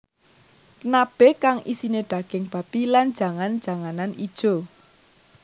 Nabe kang isine daging babi lan jangan janganan ijo